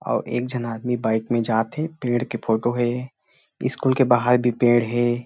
और एक झन आदमी बाइक में जाथे पेड़ के फोटो हे स्कूल के बाहर भी पेड़ हे ।